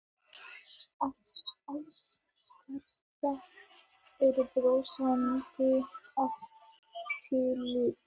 Alls staðar eru brosandi andlit.